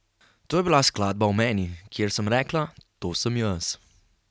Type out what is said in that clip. To je bila skladba o meni, kjer sem rekla: 'To sem jaz.